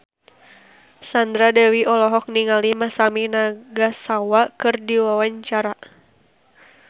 Sandra Dewi olohok ningali Masami Nagasawa keur diwawancara